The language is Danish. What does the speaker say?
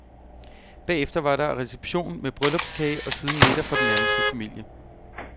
Bagefter var der reception med bryllupskage og siden middag for den nærmeste familie.